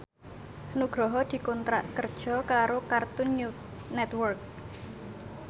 Nugroho dikontrak kerja karo Cartoon Network